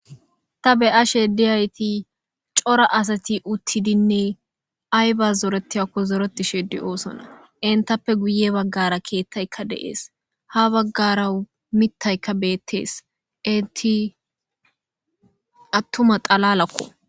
ta be7a she diyayti cora asati uttidinne ay ba zoretiyakko zoreti sheddi oosona intappe guye baggara keettayka deees ha baggara mittayka beettees inti attuma xalalakko